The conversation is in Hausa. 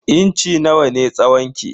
Inci nawa ne tsawon ki?